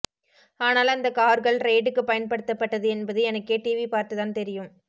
ஆனால் அந்த கார்கள் ரெய்டுக்கு பயன்படுத்தப்பட்டது என்பது எனக்கே டிவி பார்த்து தான் தெரியும்